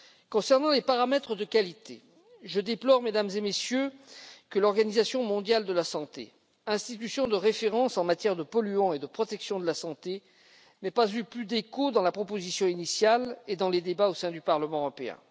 Concernant les paramètres de qualité, je déplore, Mesdames et Messieurs, que l'Organisation mondiale de la santé, institution de référence en matière de polluants et de protection de la santé, n'ait pas eu plus d'échos dans la proposition initiale et dans les débats au sein du Parlement européen.